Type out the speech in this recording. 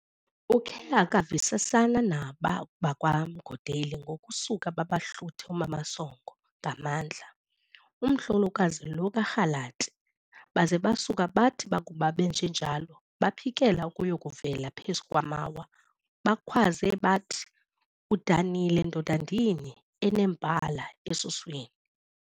Ukhe akavisisana naba bakwaMgodeli ngokusuka babahluthe uMamosongo ngamandla, umhlolokazi lo kaRalati, baze basuka bathi bakuba benjenjalo, baphikele ukuyakuvela phezu kwamawa, bakhwaze bathi, "Udanile ndoda ndini, enembala esuswini!"